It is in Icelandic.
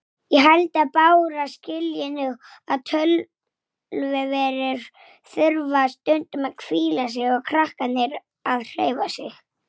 Hvar ertu annars?